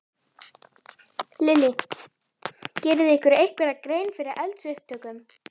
Lillý: Gerið þið ykkur einhverja grein fyrir eldsupptökum?